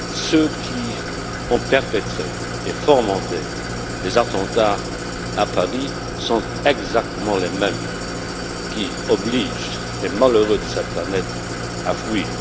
Ceux qui ont perpétré et fomenté les attentats à Paris sont exactement les mêmes qui obligent les malheureux de cette planète à fuir.